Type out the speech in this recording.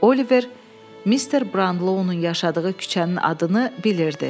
Oliver Mr. Branlo-nun yaşadığı küçənin adını bilirdi.